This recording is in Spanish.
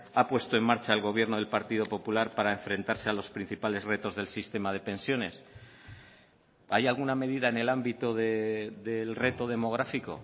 ha puesto en marcha el gobierno del partido popular para enfrentarse a los principales retos del sistema de pensiones hay alguna medida en el ámbito del reto demográfico